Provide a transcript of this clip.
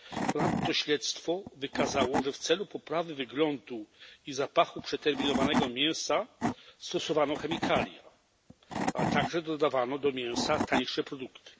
Ponadto śledztwo wykazało, że w celu poprawy wyglądu i zapachu przeterminowanego mięsa stosowano chemikalia, a także dodawano do mięsa tańsze produkty.